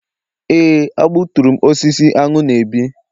Éè, a gbuturu m osisi aṅụ na-ebi.